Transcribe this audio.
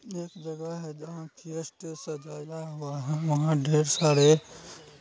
एक जगह है जहां की स्टेज सजाया हुआ है। वहाँ ढेर सारे